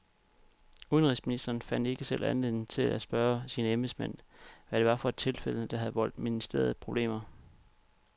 Udenrigsministeren fandt ikke selv anledning til at spørge sine embedsmænd, hvad det var for et tilfælde, der havde voldt ministeriet problemer.